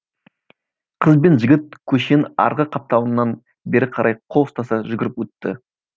қыз бен жігіт көшенің арғы қапталынан бері қарай қол ұстаса жүгіріп өтті